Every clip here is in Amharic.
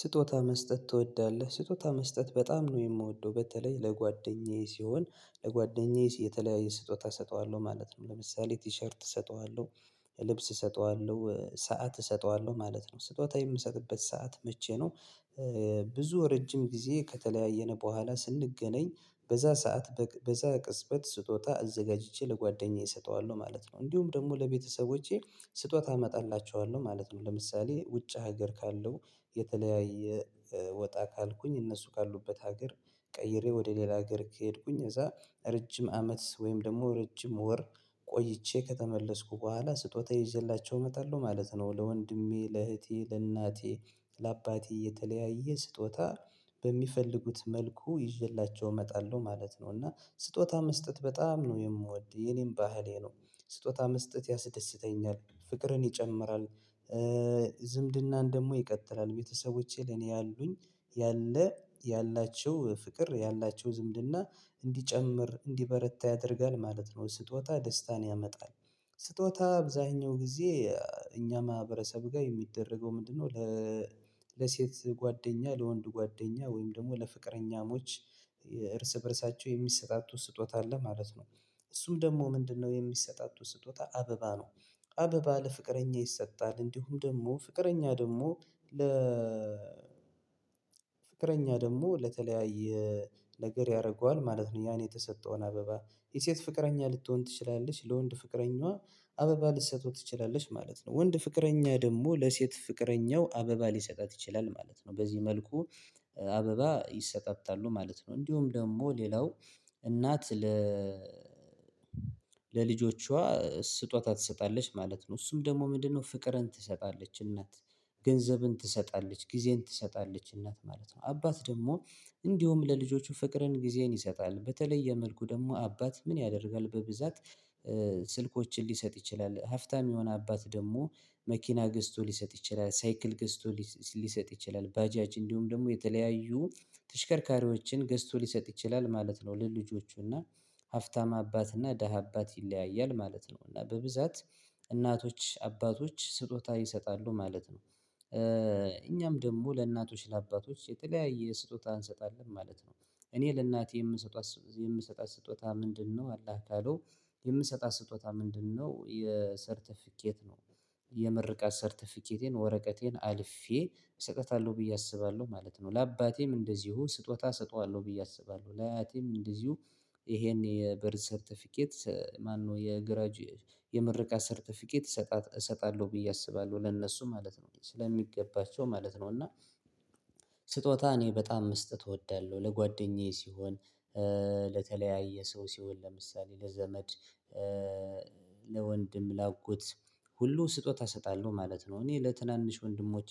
ስጦታ መስጠት ትወዳለህ ስጦታ መስጠት በጣም ነው የምወደው በተለይ ለጓደኛዬ ሲሆን ለጓደኛዬ የተለያየ ስጦታ እሰጠዋለሁ ማለት ነው። ለምሳሌ ቲሸርት እሰጠዋለሁ ልብስ እሰጠዋለሁ ሰዓት እሰጠዋለሁ ማለት ነው። ስጦታ የምሰጥበት ሰዓት መቼ ነው? ብዙ ረጅም ጊዜ ከተለያየን በኋላ ስንገናኝ በዛ ሰዓት በዛ ቅጽበት ስጦታ እዘጋጅቼ ለጓደኛዬ እሰጠዋለሁ ማለት ነው። እንዲሁም ደግሞ ለቤተሰቦቼ ስጦታ አመጣላቸዋለሁ ማለት ነው። ለምሳሌ ውጭ ሀገር ካለው የተለያየ ወጣ ካልኩኝ እነሱ ካሉበት ሀገር ቀይሬ ወደ ሌላ ሀገር ከሄድኩኝ እዛ ረጅም አመት ወይም ደግሞ ረጅም ወር ቆይቼ ከተመለስኩ በኋላ ስጦታ ይዤላቸው እመጣለሁ ማለት ነው። ለወንድሜ ለእህቴ ለእናቴ ለአባቴ የተለያየ ስጦታ በሚፈልጉት መልኩ ይዤላቸው እመጣለሁ ማለት ነው። እና ስጦታ መስጠት በጣም ነው የምወድ የኔም ባህሌ ነው። ስጦታ መስጠት ያስደስተኛል ፍቅርን ይጨምራል። ዝምድናን ደግሞ ይቀጥላል ቤተሰቦቼ ለኔ ያሉኝ ያለ ያላቸው ፍቅር ያላቸው ዝምድና እንዲጨምር እንዲበረታ ያደርጋል ማለት ነው። ስጦታ ደስታን ያመጣል። ስጦታ አብዛኛው ጊዜ እኛ ማህበረሰብ ጋር የሚደረገው ምንድነው? ለሴት ጓደኛ ለወንድ ጓደኛ ወይም ደግሞ ለፍቅረኛሞች እርስ በእርሳቸው የሚሰጣቱ ስጦታ አለ ማለት ነው። እሱም ደግሞ ምንድነው? የሚሰጣጡት ስጦታ አበባ ነው። አበባ ለፍቅረኛ ይሰጣል እንዲሁም ደግሞ ፍቅረኛ ደግሞ ለ ፍቅረኛ ደግሞ ለተለያየ ነገር ያደርገዋል ማለት ነው። ያን የተሰጠውን አበባ የሴት ፍቅረኛ ልትሆን ትችላለች ለወንድ ፍቅረኛዋ አበባ ልትሰጠው ትችላለች ማለት ነው። ወንድ ፍቅረኛ ደግሞ ለሴት ፍቅረኛው አበባ ሊሰጣት ይችላል ማለት ነው። በዚህ መልኩ አበባ ይሰጣጣሉ ማለት ነው። እንዲሁም ደግሞ ሌላው እናት ለ ለልጆቿ ስጦታ ትሰጣለች ማለት ነው። እሱም ደግሞ ምንድነው? ፍቅርን ትሰጣለች እናት ገንዘብን ትሰጣለች ጊዜን ትሰጣለች እናት ማለት ነው። አባት ደግሞ እንዲሁ ለልጆቹ ፍቅርን ጊዜን ይሰጣል በተለየ መልኩ ደግሞ አባት ምን ያደርጋል በብዛት ስልኮችን ሊሰጥ ይችላል። ሀፍታም የሆነ አባት ደግሞ መኪና ገዝቶ ሊሰጥ ይችላል ሳይክል ገዝቶ ሊሰጥ ይችላል ባጃጅ እንዲሁም ደግሞ የተለያዩ ተሽከርካሪዎችን ገዝቶ ሊሰጥ ይችላል ማለት ነው። ለልጆቹና ሀፍታም አባትና ደሃ አባት ይለያያል ማለት ነው። እና በብዛት እናቶች አባቶች ስጦታ ይሰጣሉ ማለት ነው። እኛም ደግሞ ለእናቶች ለአባቶች የተለያየ ስጦታ እንሰጣለን ማለት ነው። እኔ ለእናቴ የምሰጣት የምሰጣት ስጦታ ምንድነው? አላህ ካለው የምሰጣት ስጦታ ምንድነው? የሰርተፊኬት ነው። የምርቃት ሰርተፊኬቴን ወረቀቴን አልፌ እሰጠታለሁ ብዬ አስባለሁ ማለት ነው። ለአባቴም እንደዚሁ ስጦታ እሰጠዋለሁ ብዬ አስባለሁ ለአያቴም እንደዚሁ ይሄን የበርዝ ሰርተፊኬት ማነው የግራጅ የምርቃት ሰርተፊኬት እሰጣለሁ ብዬ አስባለሁ ለነሱ ማለት ነው ስለሚገባቸው ማለት ነው። እና ስጦታ እኔ በጣም መስጠት እወዳለሁ። ለጓደኛዬ ሲሆን ለተለያየ ሰው ሲሆን ለምሳሌ ለዘመድ ለወንድም ላአጎት ሁሉ ስጦታ እሰጣለሁ ማለት ነው። እኔ ለትናንሽ ወንድሞቼ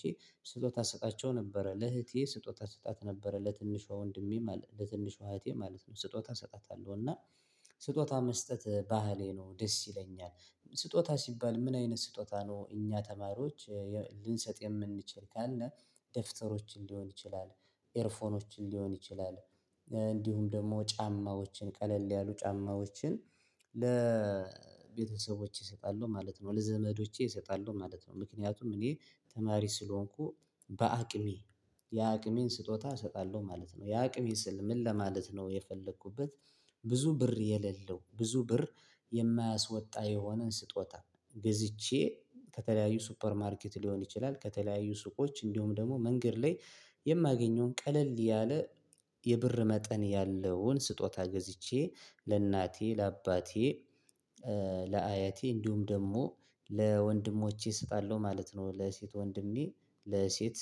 ስጦታ እሰጣቸው ነበረ ለእህቴ ስጦታ ሰጣት ነበረ ለትንሿ ወንድሜ ለትንሿ እህቴ ማለት ነው። ስጦታ እሰጣታለሁ እና ስጦታ መስጠት ባህሌ ነው። ደስ ይለኛል ስጦታ ሲባል ምን አይነት ስጦታ ነው? እኛ ተማሪዎች ልንሰጥ የምንችል ካለ ደፍተሮችን ሊሆን ይችላል። ኤርፎኖችን ሊሆን ይችላል። እንዲሁም ደግሞ ጫማዎችን ቀለል ያሉ ጫማዎችን ለቤተሰቦቼ እሰጣለሁ ማለት ነው። ለዘመዶቼ እሰጣለሁ ማለት ነው። ምክንያቱም እኔ ተማሪ ስለሆንኩ በአቅሜ የአቅሜን ስጦታ እሰጣለሁ ማለት ነው። የአቅሜን ስል ምን ለማለት ነው? የፈለኩበት ብዙ ብር የሌለው ብዙ ብር የማያስወጣ የሆነን ስጦታ ገዝቼ ከተለያዩ ሱፐርማርኬት ሊሆን ይችላል። ከተለያዩ ሱቆች እንዲሁም ደግሞ መንገድ ላይ የማገኘውን ቀለል ያለ የብር መጠን ያለውን ስጦታ ገዝቼ ለእናቴ ለአባቴ ለአያቴ እንዲሁም ደግሞ ለወንድሞቼ እሰጣለሁ ማለት ነው። ለሴት ወንድሜ ለሴት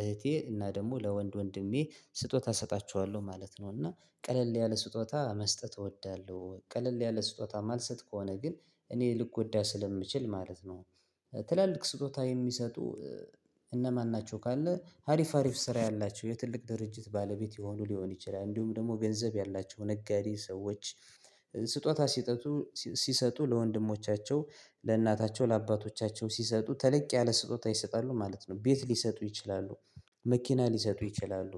እህቴ እና ደግሞ ለወንድ ወንድሜ ስጦታ እሰጣችኋለሁ ማለት ነው። እና ቀለል ያለ ስጦታ መስጠት እወዳለሁ። ቀለል ያለ ስጦታ ማልሰጥ ከሆነ ግን እኔ ልጎዳ ስለምችል ማለት ነው። ትላልቅ ስጦታ የሚሰጡ እነማን ናቸው? ካለ ሀሪፍ ሀሪፍ ስራ ያላቸው የትልቅ ድርጅት ባለቤት የሆኑ ሊሆን ይችላል። እንዲሁም ደግሞ ገንዘብ ያላቸው ነጋዴ ሰዎች ስጦታ ሲጠጡ ሲሰጡ ለወንድሞቻቸው ለእናታቸው ለአባቶቻቸው ሲሰጡ ተለቅ ያለ ስጦታ ይሰጣሉ ማለት ነው። ቤት ሊሰጡ ይችላሉ። መኪና ሊሰጡ ይችላሉ።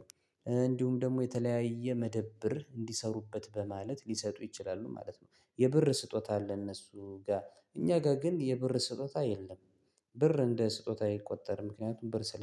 እንዲሁም ደግሞ የተለያየ መደብር እንዲሰሩበት በማለት ሊሰጡ ይችላሉ ማለት ነው። የብር ስጦታ ለእነሱ ጋር እኛ ጋር ግን የብር ስጦታ የለም። ብር እንደ ስጦታ አይቆጠርም ምክንያቱም ብር ስለ